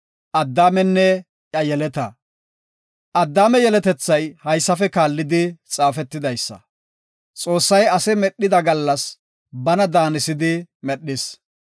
Addaame yeletethay haysafe kaallidi xaafetidaysa. Xoossay ase medhida gallas bana daanisidi medhis.